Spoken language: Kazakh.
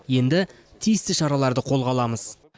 енді тиісті шараларды қолға аламыз